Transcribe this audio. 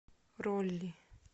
роли